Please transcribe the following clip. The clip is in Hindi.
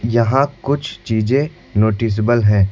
यहां कुछ चीजें नोटिसेबल हैं।